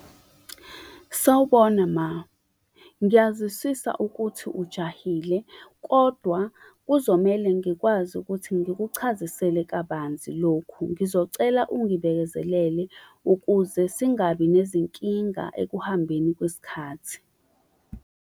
Sawubona ma. Ngiyaziswisa ukuthi ujahile, kodwa kuzomele ngikwazi ukuthi ngikuchazisele kabanzi lokhu. Ngizocela ungibekezelele ukuze singabi nezinkinga ekuhambeni kwesikhathi.